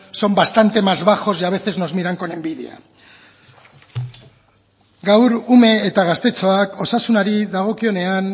son bastante más bajos y a veces nos miran con envidia gaur ume eta gaztetxoak osasunari dagokionean